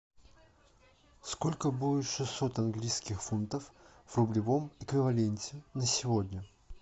сколько будет шестьсот английских фунтов в рублевом эквиваленте на сегодня